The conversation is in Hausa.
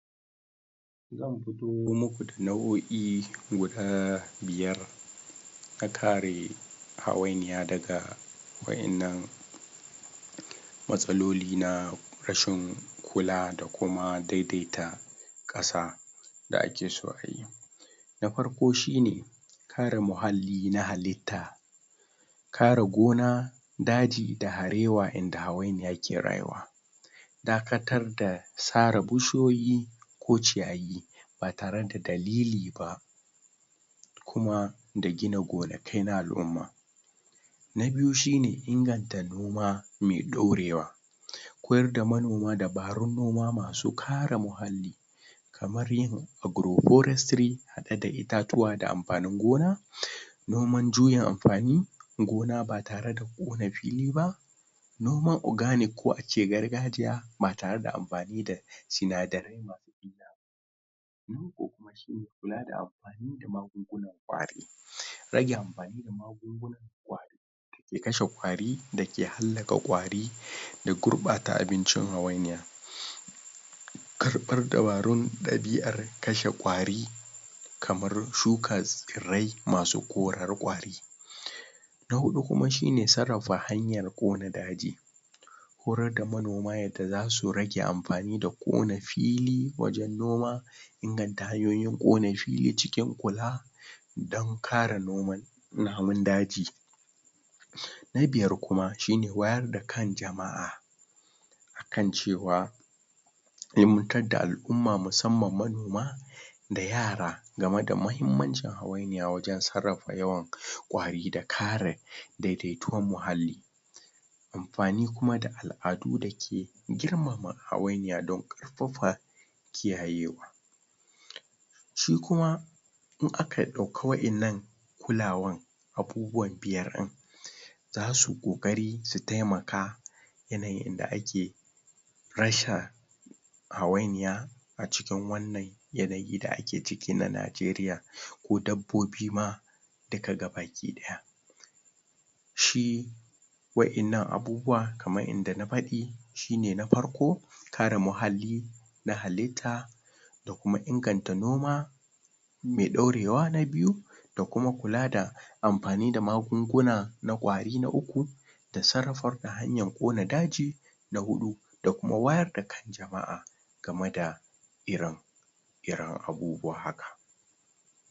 zan fito muku da nauoi guda biyar na kare hawainiya daga wayan nan matsaloli na rashin kula da kuma daidaita kasa da ake so ayi na farko shine kare muhalli na halitta kare gona daji da harewa inda hawainiya ke rayuwa dakatar da sare bushiyoyi ko ciyayi ba tare da daliliba kuma da gina gonakai na alumma na biyu shine inganta noma mai dorewa koyar da manoma dabarun noma, masu kare muhalli kamar yin agrogorestry hade da itatuwa da anfanin gona noman juyin anfani gona ba tare da kona filiba noman ogranic, ko ace gargajiya ba tare da anfani da sinadaraiba loko kuma shine kula da anfani da magun-gunan kwari rage anfani da magun-gunan kwari ya kashe kwari da ke haddasa kwari da gurbata abincin hawainiya karfan dabian dabarun kashe kwari kamar shuka tsirrai masu koran kwari na hudu kuma shine, sarrafa hanyan kona daji horar da manoma yadda zasu rage anfani da kona fili wajen noma inganta hanyoyin kona fili ciki kula dan kare noman namun daji na biyar kuma shine wayar da kan jama'a kan cewa ni'imantar da alumma musamman manoma da yara game da mahimmancin, hawainiya wajen, sarrafa yawan kwari da kare daidaituwan muhalli anfani kuma da aladu dake, girmama hawainiya, don karfafa kiyayewa shikuma in aka dauki wayan nan kulawa abubuwa biyar din zasu kokari su taimaka yanayin da ake rasa hawainiya a ciki wan nan, ya nayi da ake ciki na Nigeria ko dabbobi ma duka bakidaya shi wayan nan abubuwa, kaman yadda na fadi shine na farko kare muhalli na halitta da kuma inganta noma mai dorewa na biyu, da kuma kula da da kuma kula da anfani da magunguna na kwari na uku da sarrafar da hanyan kona daji na hudu da kuma wayar da kan jamaa, game da ire iren abubuwa haka